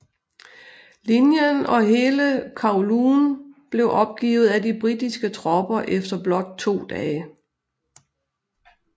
Linjen og hele Kowloon blev opgivet af de britiske tropper efter blot to dage